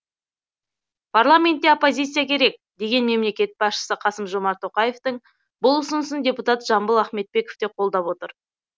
парламентте оппозиция керек деген мемлекет басшысы қасым жомарт тоқаевтың бұл ұсынысын депутат жамбыл ахметбеков те қолдап отыр